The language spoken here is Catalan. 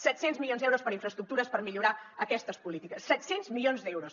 set cents milions d’euros per a infraestructures per millorar aquestes polítiques set cents milions d’euros